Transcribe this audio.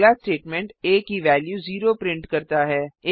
अगला स्टेटमेंट आ की वेल्यू 0 प्रिंट करता है